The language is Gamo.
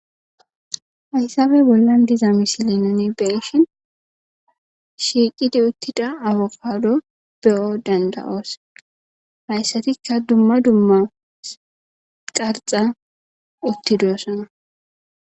Haysabe bollan diza misilinane beshin shiiqidi uttida awukaado beyo danda7oos hayssatikka dumma dumma qarxa uttidoosana